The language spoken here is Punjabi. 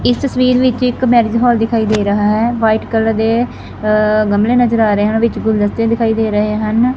ਇਸ ਤਸਵੀਰ ਵਿੱਚ ਇੱਕ ਮੈਰਿਜ ਹਾਲ ਦਿਖਾਈ ਦੇ ਰਾਹ ਹੈ ਵਾਈਟ ਕਲਰ ਦੇ ਅ ਗਮਲੇ ਨਜ਼ਰ ਆ ਰਹੇ ਹਨ ਗੁਲਦਸਤੇ ਦਿਖਾਈ ਦੇ ਰਹੇ ਹਨ।